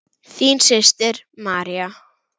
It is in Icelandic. Þín systir, María.